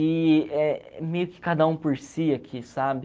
E é meio que cada um por si aqui, sabe?